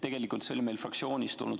Tegelikult see oli meil fraktsioonist.